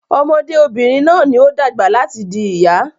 Ọmọdé obìnrin náà ní o dàgbà láti di ìyá